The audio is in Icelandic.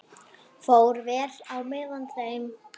Fór vel á með þeim.